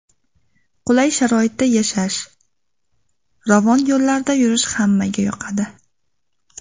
Qulay sharoitda yashash, ravon yo‘llarda yurish hammaga yoqadi.